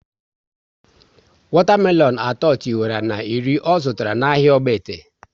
Wata melonu atọ tiwara na iri ọ zụtara na ahịa Ogbete